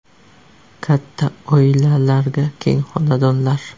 Katta oilalarga keng xonadonlar.